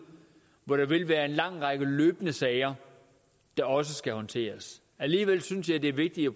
hvor der vil være en lang række løbende sager der også skal håndteres alligevel synes jeg det er vigtigt at